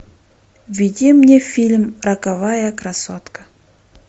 введи мне фильм роковая красотка